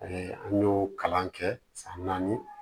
an y'o kalan kɛ san naani